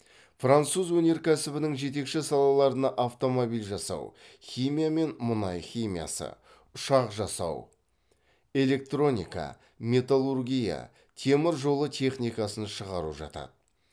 француз өнеркәсібінің жетекші салаларына автомобиль жасау химия мен мұнай химиясы ұшақ жасау электроника металлургия темір жолы техникасын шығару жатады